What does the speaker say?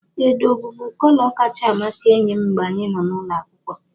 Edo bụbu kọlọ kacha amasị enyi m mgbe anyị nọ n'ụlọ akwụkwọ.